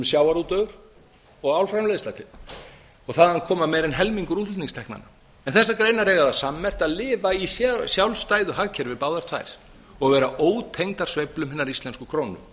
sjávarútvegur og álframleiðsla og þaðan koma meira en helmingur útflutningsteknanna en þessar greinar eiga það sammerkt að lifa í sjálfstæðu hagkerfi báðar tvær og vera ótengdar sveiflum hinnar íslensku krónu